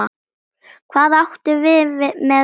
Hvað áttu við með vexti?